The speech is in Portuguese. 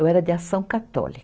Eu era de ação católi.